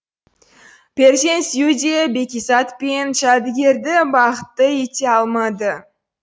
перзент сүю де бәкизат пен жәдігерді бақытты ете алмады